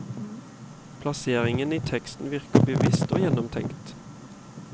Plasseringen i teksten virker bevisst og gjennomtenkt.